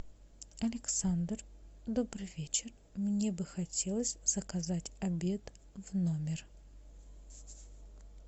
александр добрый вечер мне бы хотелось заказать обед в номер